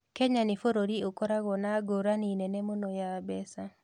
Kenya nĩ bũrũri ũkoragwo na ngũrani nene mũno ya mbeca.